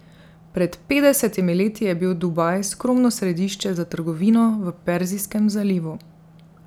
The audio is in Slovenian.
Pred petdesetimi leti je bil Dubaj skromno središče za trgovino v Perzijskem zalivu.